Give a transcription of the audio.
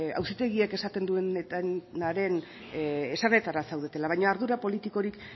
auzitegiek esaten dutenaren esanetara zaudetela baina ardura politikorik